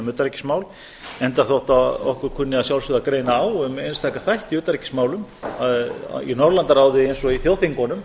utanríkismál enda þótt okkur kunni að sjálfsögðu að greina á um einstaka þætti í utanríkismálum í norðurlandaráði eins og í þjóðþingunum